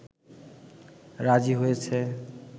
রাজী হয়েছে